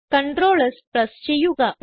Ctrl S press ചെയ്യുക